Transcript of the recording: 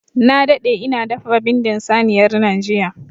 Na daɗe ina dafa bindin saniyar nan jiya.